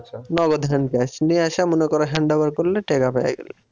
নগদ hand cash নিয়ে এসে মনে করো hand over করলে টাকা পেয়ে গেলে।